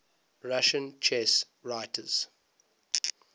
russian chess writers